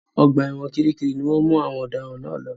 Ọgbà ẹ̀wọ̀n Kiríkirì ni wọ́n àwọn ọ̀daràn náà lọ.